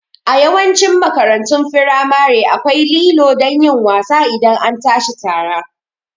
A Yawancin makarantun firamare akwai lilo don yin wasa idan an tashi tara